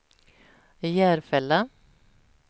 Järfälla